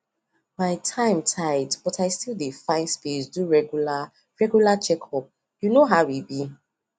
my time tight but i still dey find space do regular regular checkup you know how e be